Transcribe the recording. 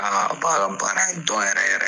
n k'a baara banna a ye dɔn yɛrɛ yɛrɛ